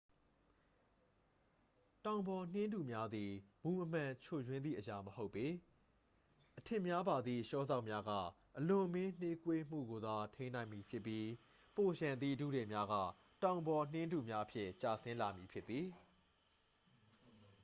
တောင်ပေါ်နှင်းထုများသည် မူမမှန်ချွတ်ယွင်းသည့်အရာမဟုတ်ပေ အထစ်များပါသည့် လျှော်စောက်များက အလွန်အမင်းနှေးကွေးမှုကိုသာ ထိန်းနိုင်သည်ဖြစ်ပြီး ပိုလျှံသည့် ထုထည်များက တောင်ပေါ်နှင်းထုများအဖြစ် ကျဆင်းလာမည်ဖြစ်သည်